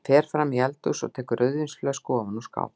Hann fer fram í eldhús og tekur rauðvínsflösku ofan úr skáp.